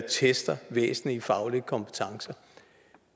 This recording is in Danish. tester væsentlige faglige kompetencer